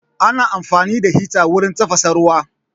Ana amfani da hita wurin tafasa ruwa